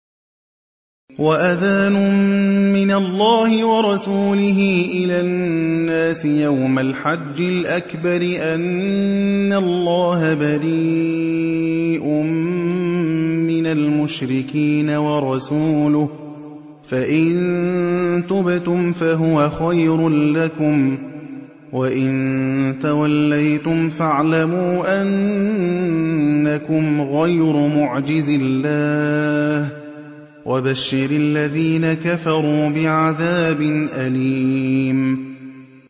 وَأَذَانٌ مِّنَ اللَّهِ وَرَسُولِهِ إِلَى النَّاسِ يَوْمَ الْحَجِّ الْأَكْبَرِ أَنَّ اللَّهَ بَرِيءٌ مِّنَ الْمُشْرِكِينَ ۙ وَرَسُولُهُ ۚ فَإِن تُبْتُمْ فَهُوَ خَيْرٌ لَّكُمْ ۖ وَإِن تَوَلَّيْتُمْ فَاعْلَمُوا أَنَّكُمْ غَيْرُ مُعْجِزِي اللَّهِ ۗ وَبَشِّرِ الَّذِينَ كَفَرُوا بِعَذَابٍ أَلِيمٍ